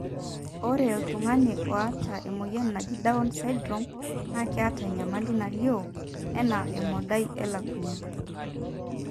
ore iltunganaa oata emoyian naaji Down syndrome na keeta enyamali nalio, ena emodai elukunya.